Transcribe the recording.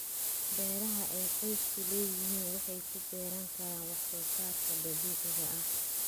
Beeraha ay qoysku leeyihiin waxay ku beeran karaan wax soo saarka dabiiciga ah.